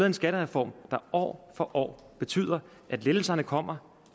en skattereform der år for år betyder at lettelserne kommer